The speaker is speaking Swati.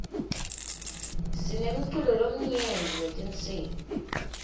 sinemculo lomnyenti wetinsibi